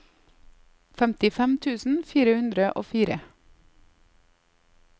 femtifem tusen fire hundre og fire